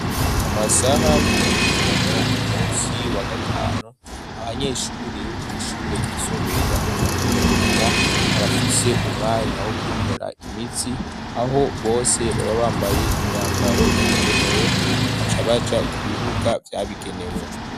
Mu masaha y'umuhingamo ku munsi wa gatanu abanyeshuri bo kuishure rgisumbaye rya muteamweranda barafise umwanya wo kwinura imitsi aho bose baba bambaye imyambaro yabigenewe bakacabaja ku bibuga vyabigenewe.